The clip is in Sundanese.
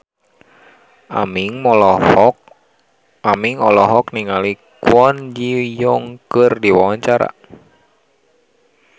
Aming olohok ningali Kwon Ji Yong keur diwawancara